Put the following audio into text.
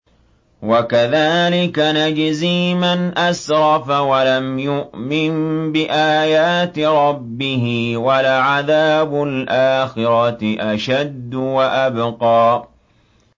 وَكَذَٰلِكَ نَجْزِي مَنْ أَسْرَفَ وَلَمْ يُؤْمِن بِآيَاتِ رَبِّهِ ۚ وَلَعَذَابُ الْآخِرَةِ أَشَدُّ وَأَبْقَىٰ